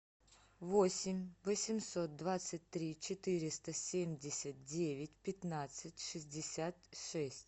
восемь восемьсот двадцать три четыреста семьдесят девять пятнадцать шестьдесят шесть